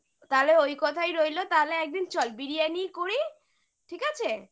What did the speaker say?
ওই কথাই রইলো তাহলে একদিন চল biriyani ই করি ঠিক আছে